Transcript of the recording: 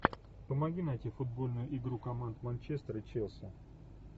помоги найти футбольную игру команд манчестер и челси